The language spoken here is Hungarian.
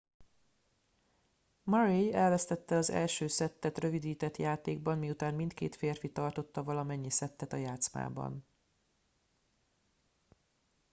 murray elvesztette az első szettet rövidített játékban miután mindkét férfi tartotta valamennyi szettet a játszmában